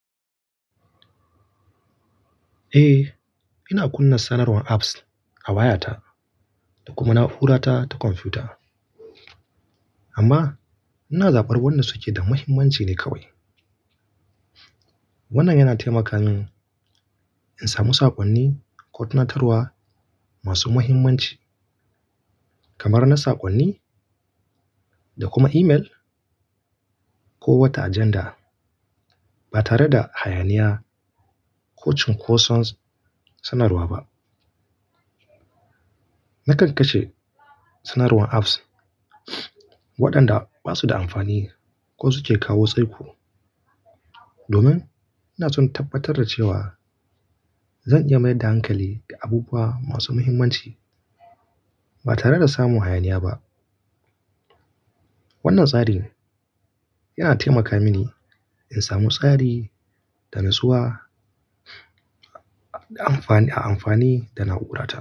Eh, ina kunna sanarwar apps a wayata da kuma na'urata ta kwamfuta, amma ina zabar waɗanda suke da mahimmanci ne kawai. Wannan yana taimaka min in samu saƙonni ko tunatarwa masu mahimmanci kamar na saƙonni da kuma imel ko wata ajanda, ba tare da hayaniya ko cunkoson sanarwa ba. Nakan kashe sanarwar apps waɗanda ba su da amfani ko suke kawo saiku, domin ina so in tabbatar da cewa zan iya mayar da hankali ga abubuwa masu mahimmanci ba tare da samun hayaniya ba. Wannan tsarin yana taimaka mini in samu tsari da natsuwa a amfani da na'urata.